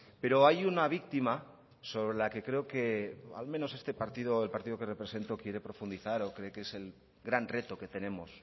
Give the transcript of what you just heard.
pero hay una víctima sobre la que creo que al menos este partido el partido que represento quiere profundizar o cree que es el gran reto que tenemos